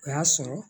O y'a sɔrɔ